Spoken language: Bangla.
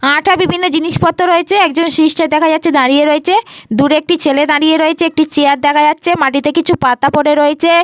আঠা বিভিন্ন জিনিসপত্র রয়েছে। একজন সিস্টার দেখা যাচ্ছে দাঁড়িয়ে রয়েছে। দূরে একটি ছেলে দাঁড়িয়ে রয়েছে। একটি চেয়ার দেখা যাচ্ছে। মাটিতে কিছু পাতা পড়ে রয়েছে।